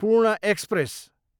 पूर्ण एक्सप्रेस